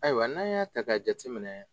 Ayiwa n'an y'a k'a jateminɛ